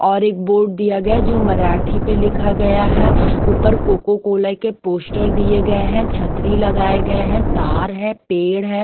और एक बोर्ड दिया गया जो मराठी पे लिखा गया है ऊपर कोकोकोला के पोस्टर दिए गए हैं छतरी लगाए गए हैं तार हैं पेड़ हैं।